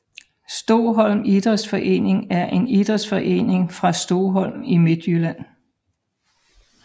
Stoholm Idrætsforening er en idrætsforening fra Stoholm i Midtjylland